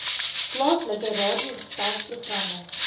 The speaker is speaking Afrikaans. plaaslike radiogesels programme